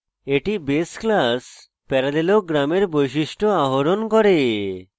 এটি base class parallelogram এর বৈশিষ্ট্য আহরণ করে